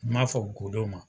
N ma fɔ godon ma.